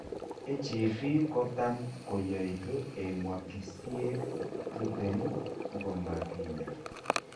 HAV kotam koyoituu eng' wikisiek tuten komakinyaa